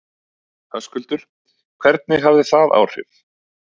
Höskuldur: Hvernig hefur það haft áhrif?